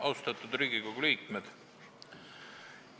Austatud Riigikogu liikmed!